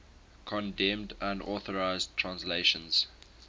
condemned unauthorized translations